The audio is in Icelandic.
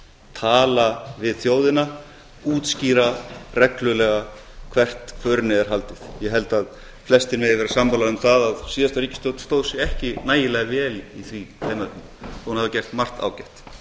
tala við þjóðina útskýra reglulega hvert förinni er haldið ég held að flestir megi vera sammála um það að síðasta ríkisstjórn stóð sig ekki nægilega vel í þeim efnum þó að hún hafi gert margt ágætt